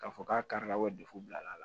K'a fɔ k'a kari la bilala